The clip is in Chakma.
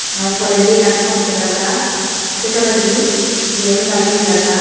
R toledi ekkan pod dega jar say toledi diyen gari dega jar.